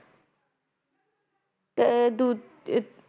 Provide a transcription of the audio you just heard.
ਏ ਦੋ ਇਤ